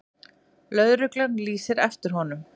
Lögregla lýsir eftir honum.